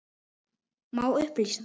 Má upplýsa þær?